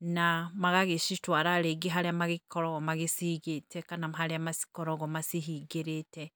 na magagĩcitwara rĩngĩ harĩa magĩkoragwo magĩciigĩte kana harĩa makoragwo macihingĩrĩte.